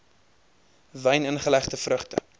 wyn ingelegde vrugte